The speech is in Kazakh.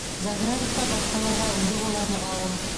заградовка басқаларға үлгі боларлық ауыл